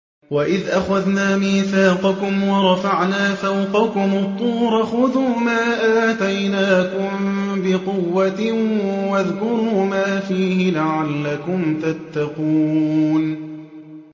وَإِذْ أَخَذْنَا مِيثَاقَكُمْ وَرَفَعْنَا فَوْقَكُمُ الطُّورَ خُذُوا مَا آتَيْنَاكُم بِقُوَّةٍ وَاذْكُرُوا مَا فِيهِ لَعَلَّكُمْ تَتَّقُونَ